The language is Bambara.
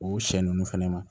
O siɲɛ ninnu fɛnɛ ma